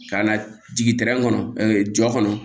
Ka na jigin kɔnɔ jɔ kɔnɔ